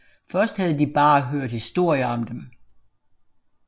Først havde de bare hørt historier om dem